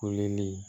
Kolili